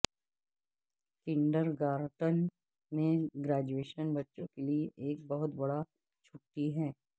kindergarten میں graduation بچوں کے لئے ایک بہت بڑا چھٹی ہے